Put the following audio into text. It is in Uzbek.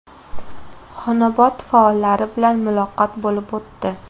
Xonobod faollari bilan muloqot bo‘lib o‘tdi.